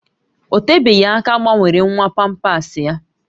Ọ tebeghị aka a gbanwere nwa pampasị ya